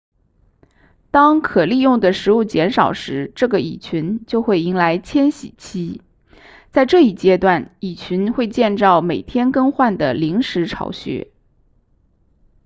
当可利用的食物减少时这个蚁群就会迎来迁徙期在这一阶段蚁群会建造每天更换的临时巢穴